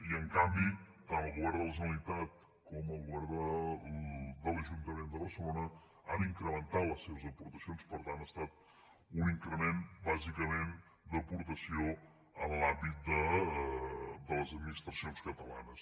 i en canvi tant el govern de la generalitat com el govern de l’ajuntament de barcelona hi han incrementat les seves aportacions per tant ha estat un increment bàsicament d’aportació en l’àmbit de les administracions catalanes